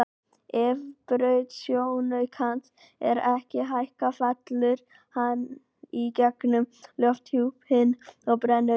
Ef braut sjónaukans er ekki hækkuð fellur hann í gegnum lofthjúpinn og brennur upp.